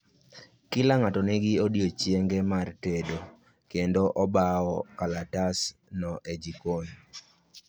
Kila ng'ato ni gi odiechienge mar tendo, kendo obao kalatas no e jokon